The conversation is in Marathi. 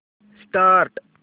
स्टार्ट